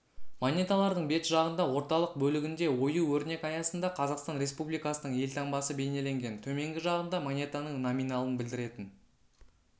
монеталардың бет жағында орталық бөлігінде ою-өрнек аясында қазақстан республикасының елтаңбасы бейнеленген төменгі жағында монетаның номиналын білдіретін